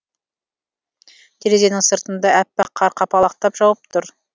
терезенің сыртында әппақ қар қапалақтап жауып тұр